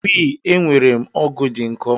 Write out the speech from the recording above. We, enwerem ọgụ dị nkọ